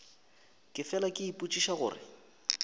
ke fela ke ipotšiša gore